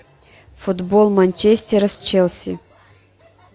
футбол манчестера с челси